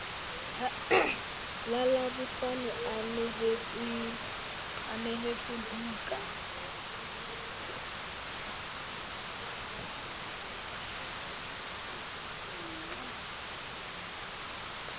la labohlano a neheletswa buka